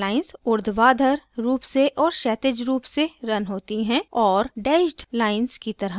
snap lines ऊर्ध्वाधर रूप से और क्षैतिज रूप से रन होती हैं और dashed lines की तरह दिखती हैं